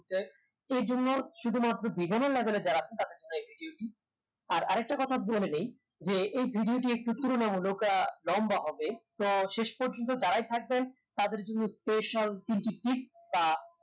হয় এইজন্য শুধুমাত্র beginner level এর যারা আছেন তাদের জন্য এই video টি আর আরেকটা কথা বলে নেই যে এই video টি একটু তুলনামূলক আহ লম্বা হবে তো শেষ পর্যন্ত যারাই থাকবেন তাদের জন্য special তিনটি tip আহ